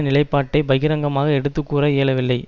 நிலைப்பாட்டை பகிரங்கமாக எடுத்து கூற இயலவில்லை